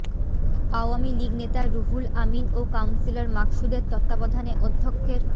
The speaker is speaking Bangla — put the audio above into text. আওয়ামী লীগ নেতা রুহুল আমিন ও কাউন্সিলর মাকসুদের তত্ত্বাবধানে অধ্যক্ষের